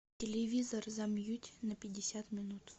телевизор замьють на пятьдесят минут